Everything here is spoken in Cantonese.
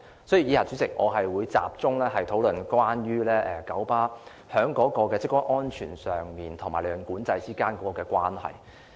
所以，代理主席，以下我會集中討論九巴的職工安全與利潤管制之間的關係。